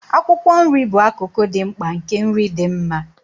Akwụkwọ nri bụ akụkụ dị mkpa nke nri dị mma.